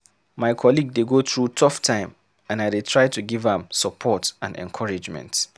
My colleague dey go through tough time, and I dey try to give am support and encouragement.